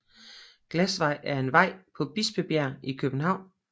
Glasvej er en vej på Bispebjerg i København